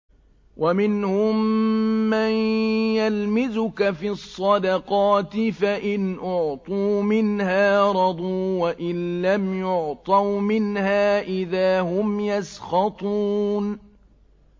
وَمِنْهُم مَّن يَلْمِزُكَ فِي الصَّدَقَاتِ فَإِنْ أُعْطُوا مِنْهَا رَضُوا وَإِن لَّمْ يُعْطَوْا مِنْهَا إِذَا هُمْ يَسْخَطُونَ